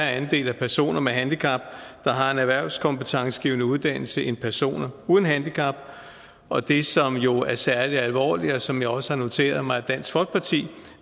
andel af personer med handicap der har en erhvervskompetencegivende uddannelse end personer uden handicap og det som jo er særlig alvorligt og som jeg også har noteret mig at dansk folkeparti